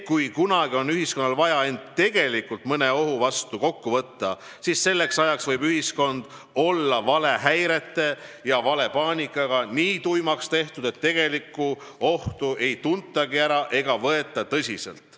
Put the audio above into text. Kui kunagi on ühiskonnal vaja end tegelikult mõne ohu vastu kokku võtta, siis selleks ajaks võib ühiskond olla valehäirete ja valepaanikatega nii tuimaks tehtud, et tegelikku ohtu ei tuntagi ära ega võeta tõsiselt.